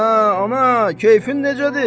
Hə, ana, kefin necədir?